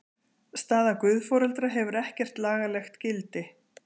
Staða guðforeldra hefur ekkert lagalegt gildi.